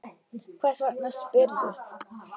Hvers vegna spyrðu?